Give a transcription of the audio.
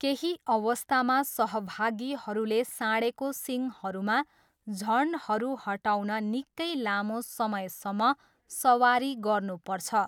केही अवस्थामा सहभागीहरूले साँढेको सिङहरूमा झन्डहरू हटाउन निकै लामो समयसम्म सवारी गर्नुपर्छ।